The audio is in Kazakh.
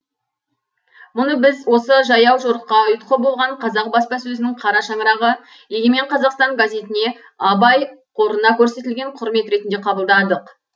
мұны біз осы жаяу жорыққа ұйытқы болған қазақ баспасөзінің қара шаңырағы егемен қазақстан газетіне абай қорына көрсетілген құрмет ретінде қабылдадық